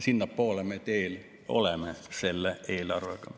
Sinnapoole me oleme teel selle eelarvega.